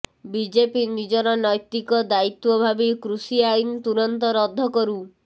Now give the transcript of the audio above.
BJP ନିଜର ନୈତିକ ଦାୟିତ୍ୱ ଭାବି କୃଷି ଆଇନ ତୁରନ୍ତ ରଦ୍ଦ କରୁ